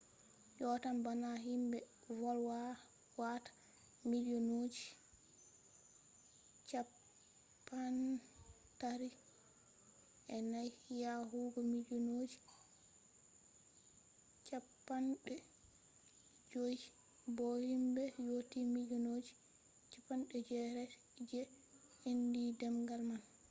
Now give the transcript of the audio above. yottan bana himbe volwata milliyonji 340 yahugo milliyonji 500 bo himbe yotti milliyonji 800 je andi demgal man